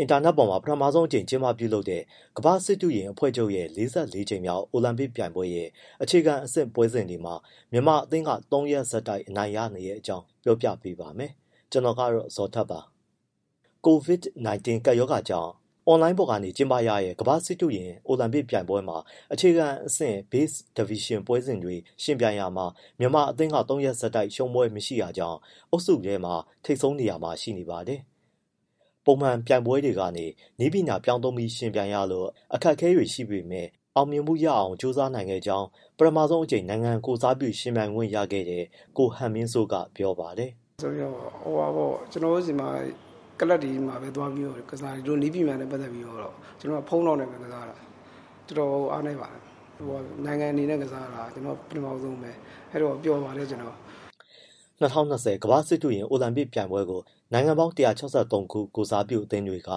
အင်တာနက်ပေါ်မှာ ပထမဆုံးအကြိမ်ကျင်းပပြုလုပ်တဲ့ ကမ္ဘာ့စစ်တုရင်အဖွဲ့ချုပ်ရဲ့ ကြိမ်မြောက် အိုလံပစ်ပြိုင်ပွဲရဲ့ အခြေခံအဆင့် ပွဲစဉ်တွေမှာ မြန်မာအသင်းက ၃ရက် ဆက်တိုက် အနိုင်ရနေတဲ့အကြောင်း ကိုဇော်ထက် ပြောပြပေးပါမယ်။ COVID-19 ကပ်ရောဂါကြောင့် အွန်လိုင်းပေါ်ကနေကျင်းပရတဲ့ ကမ္ဘာ့စစ်တုရင်အိုလံပစ်ပြိုင်ပွဲမှာ အခြေခံအဆင့် Base Division ပွဲစဉ်တွေ ယှဉ်ပြိုင်ရာမှာ မြန်မာအသင်းက ၃ ရက်ဆက်တိုက် ရှုံးပွဲမရှိတာကြောင့် အုပ်စုထဲမှာ ထိပ်ဆုံးနေရာမှာ ရှိနေပါတယ်။ ပုံမှန်ပြိုင်ပွဲတွေကနေ နည်းပညာပြောင်းသုံးပြီး ယှဉ်ပြိုင်ရလို့ အခက်အခဲတွေရှိပေမဲ့ အောင်မြင်မှုရအောင် ကစားနိုင်ခဲ့တဲ့ အကြောင်း ပထမဆုံးအကြိမ် နိုင်ငံကိုယ်စားပြု ယှဉ်ပြိုင်ခွင့်ရခဲ့တဲ့ ကိုဟန်မင်းစိုးက ပြောပါတယ်။ “ ကျနော်တို့ဆီမှာ ကလပ်တွေမှာပဲသွားပြီးတော့ ကစားတာ ဒီလိုနည်းပညာနဲ့ပတ်သက်ပြီးတော့ ကျနော်က ဖုန်းလောက်နဲ့ပဲ ကစားတာ။ တော်တော်ကို အားနည်းပါတယ်။ နိုင်ငံအနေနဲ့ကစားတာ ကျနော်ပထမဦးဆုံးပဲ၊ အဲဒီတော့ ပျော်ပါတယ် ကျနော်။” ၂၀၂၀ ကမ္ဘာ့စစ်တုရင် အိုလံပစ်ပြိုင်ပွဲကို နိုင်ငံပေါင်း ၁၆၃ ခု ကိုယ်စားပြုအသင်းတွေက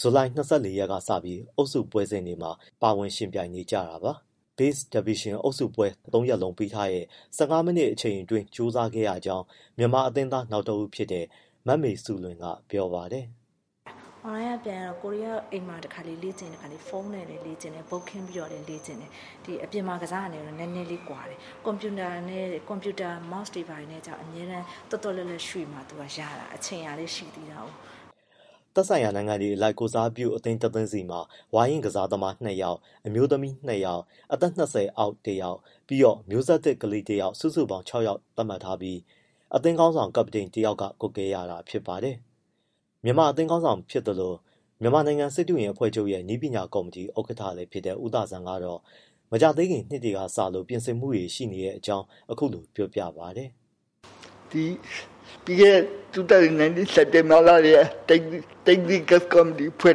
ဇူလိုင် ၂၄ရက်ကစပြီး အုပ်စုပွဲစဉ်တွေမှာ ပါဝင်ယှဉ်ပြိုင်နေတာပါ။ Base Division အုပ်စုပွဲ သုံးရက်လုံး ပေးထားတဲ့ ၁၅မိနစ်အချိန်အတွင်း ကြိုးစားခဲ့ရကြောင်း မြန်မာအသင်းသား နောက်တစ်ဦး ဖြစ်တဲ့ မမေစုလွင်က ပြောပါတယ်။ “ အွန်လိုင်းကပြိုင်ရတော့ ကိုယ်တွေကတော့ အိမ်မှာတခါတလေ ဖုန်းနဲ့လည်း လေ့ကျင့်တယ်၊ board ခင်းပြီးတော့လည်း လေ့ကျင့်တယ်။ အခု အပြင်မှာ ကစားတာနဲ့တော့ နည်းနည်းလေး ကွာတယ်။ ကွန်ပျူတာ mouse တွေဘာတွေနဲ့တော့ အမြဲတမ်း၊ သွက်သွက်လက်လက် ဖြစ်မှ သူကရတာ။ အချိန်ကလည်း ရှိသေးတာကိုး။” သက်ဆိုင်ရာနိုင်ငံအလိုက် ကိုယ်စားပြုအသင်းတသင်းစီမှာ ဝါရင့်ကစားသမား ၂ယောက်၊ အမျိုးသမီး ၂ယောက်၊ အသက် ၂၀ အောက် တစ်ယောက်၊ ပြီးတော့ မျိုးဆက်သစ် ကလေးတစ်ယောက် စုစုပေါင်း ၆ ယောက်သတ်မှတ်ထားပြီး အသင်းခေါင်းဆောင် ကပ္ပတိန်တယောက်က ကွပ်ကဲရတာ ဖြစ်ပါတယ်။ မြန်မာအသင်းခေါင်းဆောင်ဖြစ်သလို၊ မြန်မာနိုင်ငံစစ်တုရင်အဖွဲ့ချုပ်ရဲ့ နည်းပညာကော်မတီ ဥက္ကဋ္ဌလည်း ဖြစ်တဲ့ ဦးသာဇံကတော့ မကြာသေးခင်နှစ်တွေက စလို့ ပြင်ဆင်မှုတွေ ရှိနေတဲ့ အကြောင်း အခုလိုပြောပါတယ်။ “ပြီးခဲ့တဲ့ ၂၀၁၉ စက်တင်ဘာလောက်ကတည်းက technical committee ဖွဲ့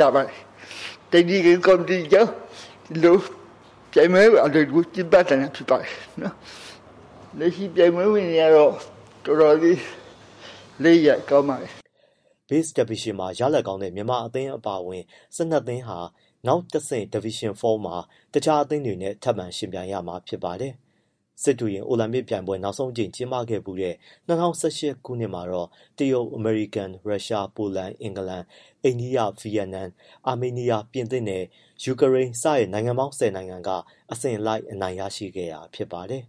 ထားပါတယ်၊ technical committee ကြောင့်ပြိုင်ပွဲ အလွယ်တကူ ကျင်းပနိုင်တာ ဖြစ်ပါတယ်။ လက်ရှိ ပြိုင်ပွဲဝင်တွေကတော့ တော်တော်လေး လက်ရည်က ကောင်းပါတယ်။” Base Division မှာရလဒ်ကောင်းတဲ့ မြန်မာအသင်းအပါအဝင် ၁၂ သင်းဟာ နောက်တဆင့် Division မှာ တခြားအသင်းတွေနဲ့ ထပ်မံယှဉ်ပြိုင်ရမှာ ဖြစ်ပါတယ်။ စစ်တုရင် အိုလံပစ်ပြိုင်ပွဲ နောက်ဆုံးအကြိမ် ကျင်းပခဲ့ဖူးတဲ့ ၂၀၁၈ ခုနှစ်မှာတော့ တရုတ်၊ အမေရိကန်၊ ရုရှား၊ ပိုလန်၊ အင်္ဂလန်၊ အိန္ဒိယ၊ ဗီယက်နမ်၊ အာမေးနီးယား၊ ပြင်သစ်နဲ့ ယူကရိန်း စတဲ့ နိုင်ငံပေါင်း ၁၀ နိုင်ငံက အစဉ်လိုက်အနိုင်ရရှိခဲ့တာ ဖြစ်ပါတယ်။